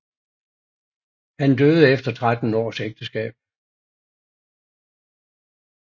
Han døde efter 13 års ægteskab